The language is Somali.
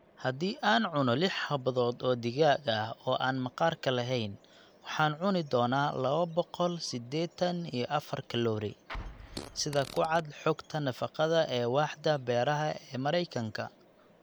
Haddii aan cunno lix xabbadood oo digaag ah oo aan maqaarka lahayn, waxaan cuni doonaa laba boqol sideetan iyo afar kalori (sida ku cad xogta nafaqada ee Waaxda Beeraha ee Mareykanka)